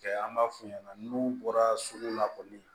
Kɛ an b'a f'u ɲɛna n'u bɔra sugu la kɔni